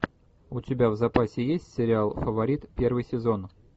у тебя в запасе есть сериал фаворит первый сезон